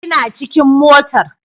Ina cikin motar